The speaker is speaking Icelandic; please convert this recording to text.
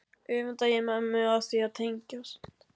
Öfunda ég mömmu af því að tengjast